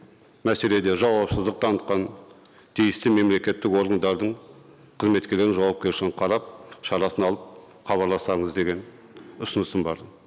мәселеде жауапсыздық танытқан тиісті мемлекеттік органдардың қызметкерлердің жауапкершілігін қарап шарасын алып хабарласаңыз деген ұсынысым бар